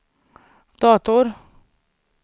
dator